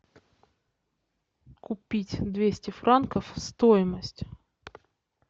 купить двести франков стоимость